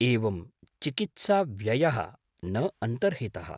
एवं चिकित्साव्ययः न अन्तर्हितः?